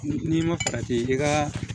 N'i ma farati i ka